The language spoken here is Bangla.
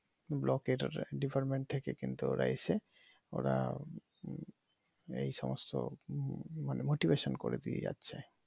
ব্লক এর department থেকে কিন্তু ওরা এসে ওরা এই সমস্ত মানি motivation করে দিয়ে যাচ্ছে